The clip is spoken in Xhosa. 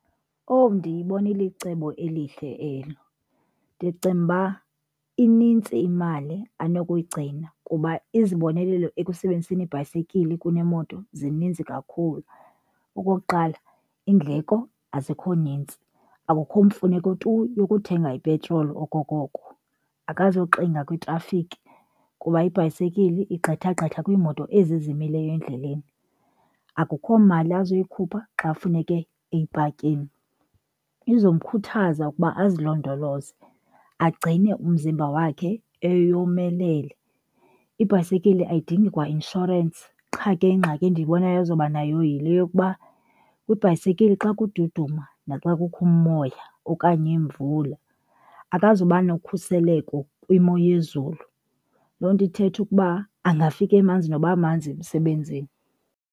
Owu, ndiyibona ilicebo elihle elo. Ndicinga uba inintsi imali anokuyigcina kuba izibonelelo ekusebenziseni ibhayisekile kunemoto zininzi kakhulu. Okokuqala, iindleko azikho nintsi, akukho mfuneko tu yokuthenga ipetroli okokoko. Akazuxinga kwitrafikhi kuba ibhayisekile igqitha gqitha kwiimoto ezi zimileyo endleleni. Akukho mali azoyikhupha xa funeke eyipakile. Izomkhuthaza ukuba azilondoloze, agcine umzimba wakhe eyomelele. Ibhayisekile ayidingi kwa inshorensi. Qha ke ingxaki endiyibonayo ezoba nayo yile yokuba kwibhayisikile xa kududuma naxa kukho umoya okanye imvula akazuba nokhuseleko kwimo yezulu. Loo nto ithetha ukuba angafika emanzi noba manzi emsebenzini.